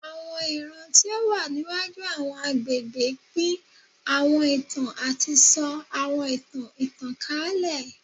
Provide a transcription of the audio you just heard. Awọn iran ti o wa niwaju awọn agbegbe pin awọn itan ati sọ awọn itan itankalẹ